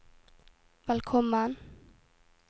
velkommen